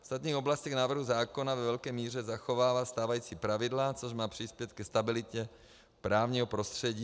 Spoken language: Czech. V ostatních oblastech návrhu zákona ve velké míře zachovává stávající pravidla, což má přispět ke stabilitě právního prostředí.